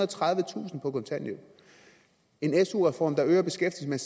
og tredivetusind på kontanthjælp at en su reform øger beskæftigelsen